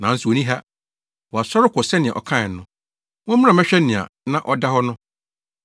nanso onni ha. Wasɔre kɔ sɛnea ɔkae no. Mommra mmɛhwɛ nea na ɔda hɔ no.